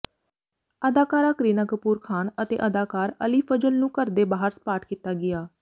ਅਦਾਕਾਰਾ ਕਰੀਨਾ ਕਪੂਰ ਖਾਨ ਅਤੇ ਅਦਾਕਾਰ ਅਲੀ ਫਜਲ ਨੂੰ ਘਰ ਦੇ ਬਾਹਰ ਸਪਾਟ ਕੀਤਾ ਗਿਆ